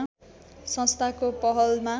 संस्थाको पहलमा